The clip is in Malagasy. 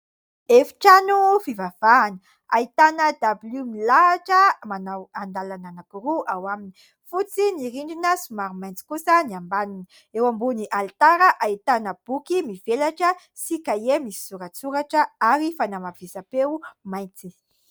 Efitrano fivavahana, ahitana dabilio milahita manao andalana anankiroa ao aminy. Fotsy ny rindrina, somary maitso kosa ny ambaniny. Eo ambony alitara ahitana boky mivelatra sy kahie misy soratsoratra ary fanamafisam-peo mainty.